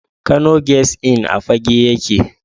Kano Guest Inn a Fagge yake.